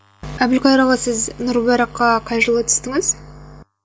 әбілқайыр аға сіз нұр мүбараққа қай жылы түстіңіз